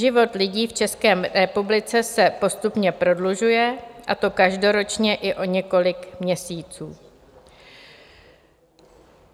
Život lidí v České republice se postupně prodlužuje, a to každoročně i o několik měsíců.